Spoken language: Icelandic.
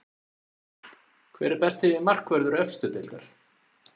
Hver er besti markvörður efstu deildar?